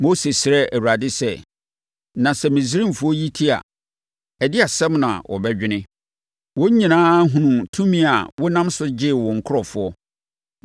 Mose srɛɛ Awurade sɛ, “Na sɛ Misraimfoɔ yi te a, ɛdeɛn asɛm na wɔbɛdwene? Wɔn nyinaa hunuu tumi a wonam so de gyee wo nkurɔfoɔ.